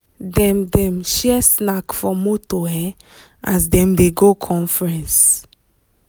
dem dem share snack for motor um as dem dey go conference.